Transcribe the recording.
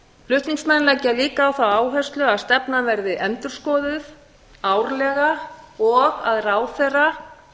flutningsmenn leggja líka á það áherslu að stefnan verði endurskoðuð árlega og að ráðherra